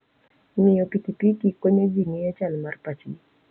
Ng'iyo pikipiki konyo ji ng'eyo chal mar pachgi.